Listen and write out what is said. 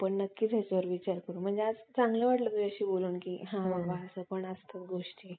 अह रोगाने संक्रमित करू शकते.